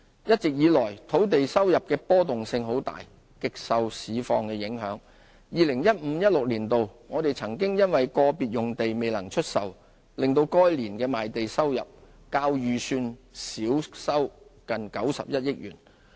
一直以來，土地收入的波動性很大，極受市況影響 ，2015-2016 年度，我們曾因個別土地未能出售，令該年的賣地收入較預算少收近91億元。